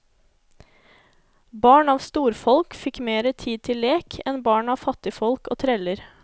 Barn av storfolk fikk mere tid til lek enn barn av fattigfolk og treller.